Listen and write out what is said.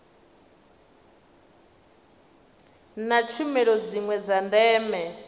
na tshumelo dziwe dza ndeme